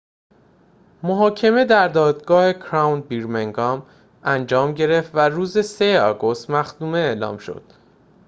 محاکمه در دادگاه کراون برمینگام انجام گرفت و روز ۳ آگوست مختومه اعلام شد